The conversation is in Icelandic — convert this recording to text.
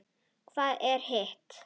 Það var hitt.